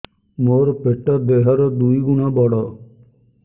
ମୋର ପେଟ ଦେହ ର ଦୁଇ ଗୁଣ ବଡ